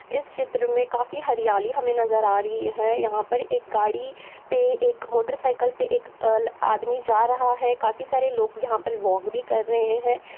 इस चित्र में काफी हरियाली हमें नजर आ रही है। यहाँ पर एक गाड़ी पे एक मोटर साइकिल पे एक आदमी जा रहा है। काफी सारे लोग यहाँ पर वॉक भी कर रहे हैं।